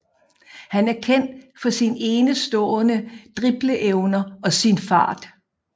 Han er kendt for sin enestående dribleevner og sin fart